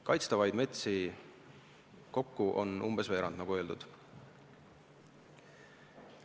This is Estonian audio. Kaitstavaid metsi kokku on umbes veerand, nagu sai öeldud.